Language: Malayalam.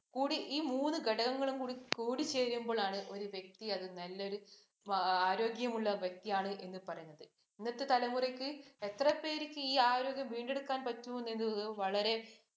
, ഈ മൂന്നു ഘടകങ്ങളും കൂടിച്ചേരുമ്പോളാണ് ഒരു വ്യക്തി അത് നല്ലൊരു ആരോഗ്യമുള്ള വ്യക്തിയാണ് എന്ന് പറയുന്നത്. ഇന്നത്തെ തലമുറക്ക് എത്ര പേർക്ക് ഈ ആരോഗ്യം വീണ്ടെടുക്കാൻ പറ്റുമെന്നുള്ളത് വളരെ